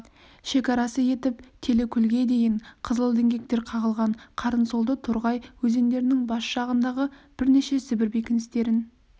шекарасы етіп телікөлге дейін қызыл діңгектер қағылған қарынсолды торғай өзендерінің бас жағындағы бірнеше сібір бекіністерін